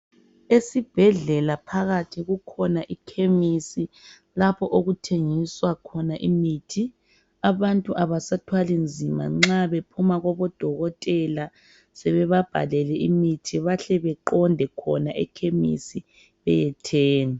Esibhedlela phakathi kukhona ikhemisi, lapho okuthengiswa khona imithi. Abantu kabasathwali nzima, nxa bephuma kubodokotela, sebebabhalele imithi. Bahle baqonde khona ekhemisi, beyethenga.